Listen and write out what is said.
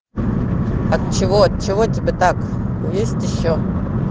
от чего от чего тебе так есть ещё